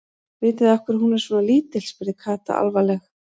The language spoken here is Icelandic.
Vitið þið af hverju hún er svona lítil? spurði Kata alvarleg.